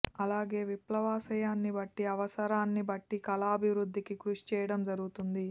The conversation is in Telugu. అలాగే విప్లవాశయాన్ని బట్టి అవసరాన్ని బట్టి కళాభివృద్ధికి కృషి చేయడం జరుగుతుంది